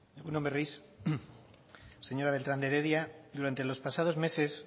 egun on berriz señora beltrán de heredia durante los pasados meses